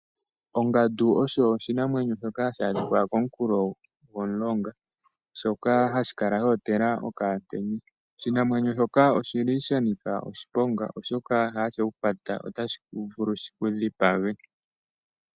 Ongandu osho oshinamwenyo shoka hashi adhika komukulo gomulonga shoka hashi kala sha otela okamutenya oshinamwenyo shoka oshili sha nika oshiponga oshoka ngele sheku kwata otashi vulu shiku dhipage.